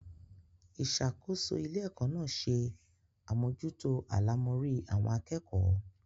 Ìṣàkóso ilé-ẹ̀kọ́ náà se àmójútó àlámọrí àwọn akẹ́kọ̀ọ́.